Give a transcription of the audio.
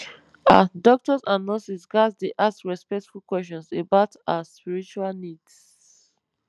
ah doctors and nurses ghats dey ask respectful questions about ah spiritual needs